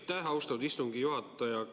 Aitäh, austatud istungi juhataja!